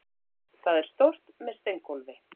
Það er stórt, með steingólfi.